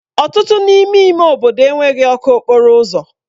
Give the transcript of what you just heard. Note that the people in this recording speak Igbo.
Ọtụtụ n'ime ime obodo enweghị ọkụ okporo ụzọ.